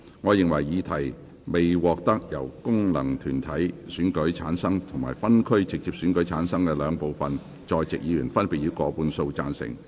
我認為議題獲得經由功能團體選舉產生及分區直接選舉產生的兩部分在席議員，分別以過半數贊成。